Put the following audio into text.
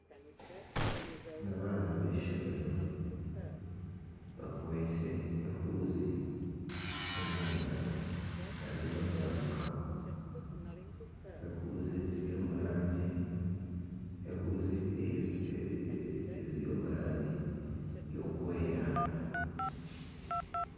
Ni abaana b'eishomero bakwise ehuuzi omu ngaro, bariyo nibaruka. Ehuuzi ziri omu rangi erikwera.